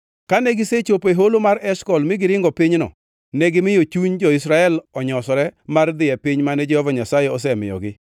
Kane gisechopo e Holo mar Eshkol mi giringo pinyno, negimiyo chuny jo-Israel onyosore mar dhi e piny mane Jehova Nyasaye osemiyogi.